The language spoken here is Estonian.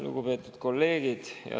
Lugupeetud kolleegid!